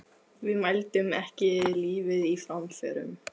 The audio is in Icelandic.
Við mældum ekki lífið í framförum.